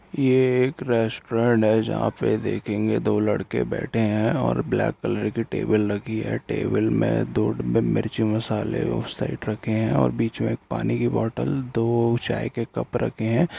ये एक रेस्टोरेंट है जहाँ पे देखेंगे दो लड़के बैठे है और ब्लैक कलर की टेबिल रखी है टेबल में दौड़ में मिर्च मसाले और साइट रखे है और बीच में पानी की बॉटल दो चाय के कप रखे है।